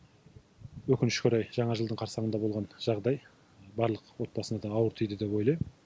өкінішке орай жаңа жылдың қарсаңында болған жағдай барлық отбасына да ауыр тиді деп ойлайм